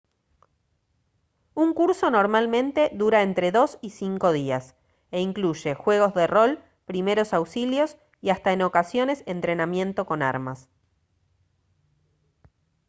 un curso normalmente dura entre 2 y 5 días e incluye juegos de rol primeros auxilios y hasta en ocasiones entrenamiento con armas